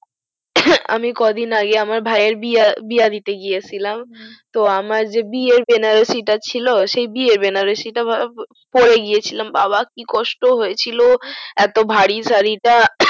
আমি ক দিন আগে আমের ভাই এর বিয়া দিতে গিয়া ছিলাম তো আমার যে বিয়ে বেনারসি তা ছিল সেই বিয়ে বেনারসি তা পরে গিয়ে ছিলাম বাবা কি কষ্ট হয়ে ছিল এত ভারী সারি টা